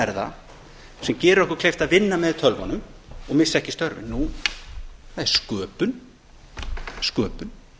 það sem gerir okkur kleift að vinna með tölvunum og missa ekki störfin nú það er sköpun